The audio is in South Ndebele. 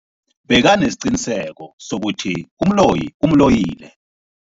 Bekanesiqiniseko sokuthi umloyi umloyile.